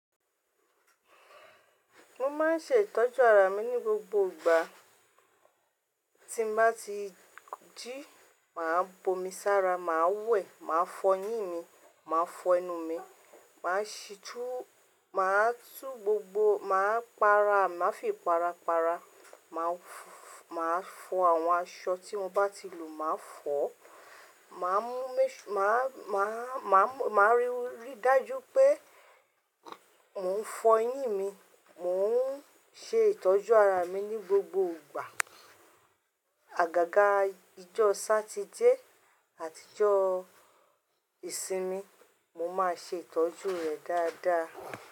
Mo máa n ṣe ìtọ́jú ara mi ni gbogbo ìgbà. Tí n bá ti jí, màá bo mi sára, màá wẹ̀, màá fọ eyín mi, màá fọ ẹnu mi, màá ṣítú, màá tú gbogbo, màá para, màá fi para para, màá fọ àwọn aṣọ tí mo bá ti lò, màá fọ, màá mú, màá, màá, màá ríi dájú pé mò ń fọ eyín mi. Mò ń ṣe ìtọ́jú ara mi ní gbogbo ìgbà. Àgàgà ijọ́ Sátidé àti ọjọ́ ìsinmi, mo máa ṣe ìtọ́jú rẹ dáadáa.